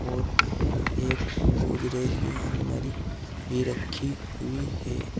और एक गोदरेज की आलमारी भी रखी हुई है।